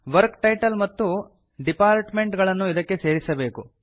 work title ಮತ್ತು department ಗಳನ್ನು ಇದಕ್ಕೆ ಸೇರಿಸಬೇಕು